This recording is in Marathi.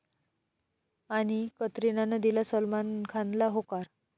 ...आणि कतरिनानं दिला सलमान खानला 'होकार'